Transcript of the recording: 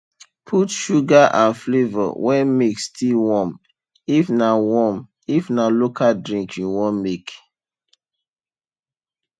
put sugar and flavour when milk still warm if na warm if na local drink you wan make